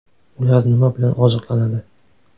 Ular nima bilan oziqlanadi?